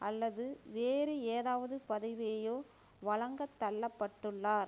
அல்லது வேறு ஏதாவது பதவியையோ வழங்கத்தள்ளப்பட்டுள்ளார்